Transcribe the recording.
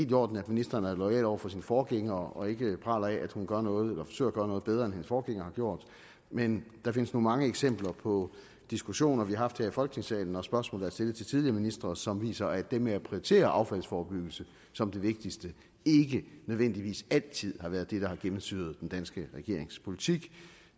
i orden at ministeren er loyal over for sin forgænger og ikke praler af at hun gør noget eller forsøger at gøre noget bedre end hendes forgænger har gjort men der findes nu mange eksempler på diskussioner vi har haft her i folketingssalen når spørgsmålet er stillet til tidligere ministre som viser at det med at prioritere affaldsforebyggelse som det vigtigste ikke nødvendigvis altid har været det der har gennemsyret den danske regerings politik